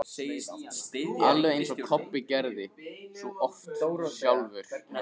Alveg eins og Kobbi gerði svo oft sjálfur.